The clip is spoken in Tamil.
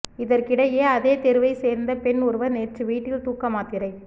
இதற்கிடையே அதே தெருவை சேர்ந்த பெண் ஒருவர் நேற்று வீட்டில் தூக்கமாத்திரை